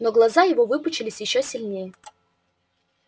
но глаза его выпучились ещё сильнее